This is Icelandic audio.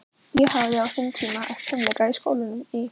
Ég hafði á sínum tíma æft fimleika í skólanum í